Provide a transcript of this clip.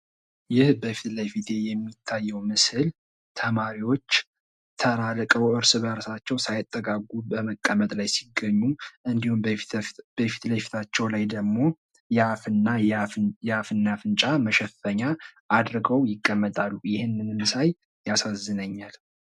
ይህ በፊት ለፊቴ የሚታየው ምስል ተማሪዎች ተራርቀው እርስ በርሳቸው ሳይጠጋጉ ተቀመጠው ሲገኙ እንዲሁም በፊት ለፊታቸው ደግሞ የአፍና የአፍንጫ መሸፈኛ አድርጎ ይቀመጣሉ ይህንንም ሳይ ያሳዝነኛል።